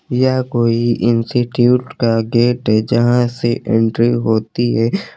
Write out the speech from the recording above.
यह कोई इंस्टीट्यूट का गेट है जहां से एंट्री होती है।